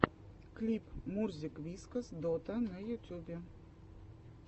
клип мурзик вискас дота на ютюбе